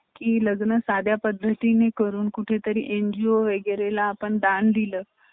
education loan भेटल